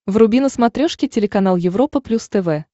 вруби на смотрешке телеканал европа плюс тв